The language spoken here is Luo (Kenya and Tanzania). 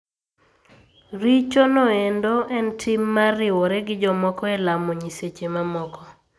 Richo noendo en tim mar riwore gi jomoko e lamo nyiseche mamoko.